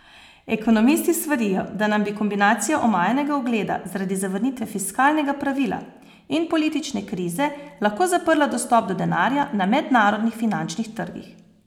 Ekonomisti svarijo, da nam bi kombinacija omajanega ugleda zaradi zavrnitve fiskalnega pravila in politične krize lahko zaprla dostop do denarja na mednarodnih finančnih trgih.